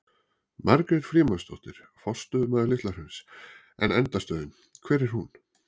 Margrét Frímannsdóttir, forstöðumaður Litla hrauns: En endastöðin, hvar er hún?